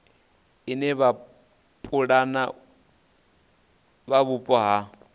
ine vhapulani vha mupo vha